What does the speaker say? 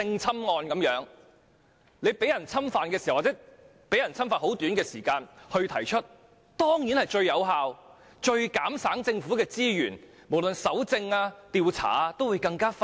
正如性侵案件，在遭受侵犯後短時間內舉報當然是最有效、最減省政府資源的做法，在搜證或調查方面也會更快。